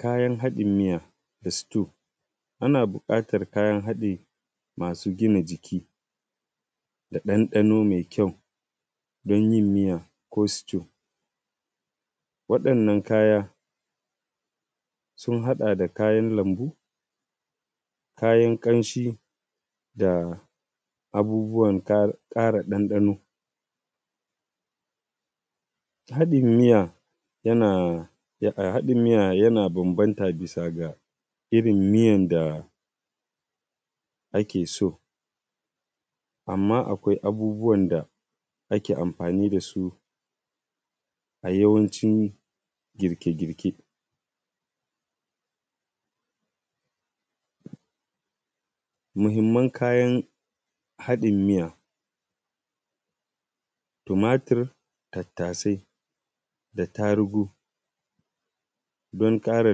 Kayan haɗin miya da stew. Ana buƙatar kayan haɗi masu gina jiki da ɗanɗano mai kyau don yin miya ko stew. Waɗannan kaya sun haɗa da kayan lambu, kayan ƙamshin da abubuwan ƙara ɗanɗano. Haɗin miya yana bambanta bisa ga irin miyan da ake so, amma akwai abubuwan da ake amfani dasu a yawancin girke girke. Muhimman kayan haɗin miya tumatir, tattasai da tarugu don ƙara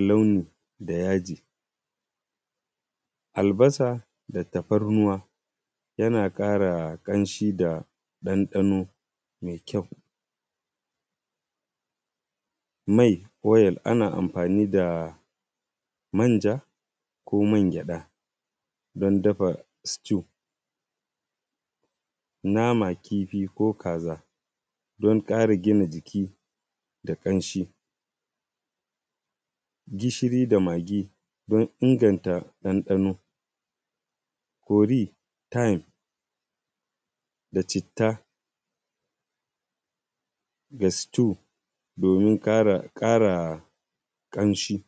launi da yaji, albasa da tafarnuwa yana ƙara ƙamshi da ɗanɗano mai kyau. Mai oil ana amfani da manja ko man gyaɗa don dafa stew. Nama, kifi ko kaza don ƙara gina jiki da ƙamshin, gishiri da maggi don inganta ɗanɗano, curry, thyme da citta ga stew domin ƙara ƙamshi.